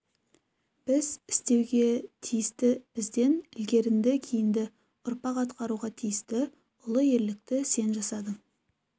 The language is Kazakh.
біз істеуге тиісті бізден ілгерінді-кейінгі ұрпақ атқаруға тиісті ұлы ерлікті сен жасадың